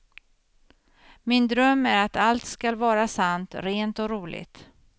Min dröm är att allt skall vara sant, rent och roligt.